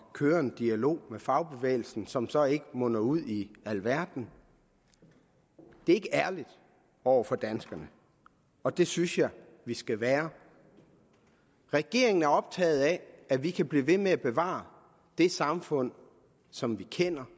køre en dialog med fagbevægelsen som så ikke munder ud i alverden er ikke ærligt over for danskerne og det synes jeg vi skal være regeringen er optaget af at vi kan blive ved med at bevare det samfund som vi kender